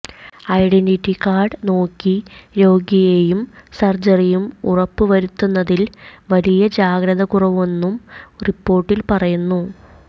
identity card നോക്കി രോഗിയെയും സർജ്ജറിയും ഉറപ്പ് വരുത്തുന്നതിൽ വലിയ ജാഗ്രതക്കുറവെന്നും റിപ്പോർട്ടിൽ പറയുന്നു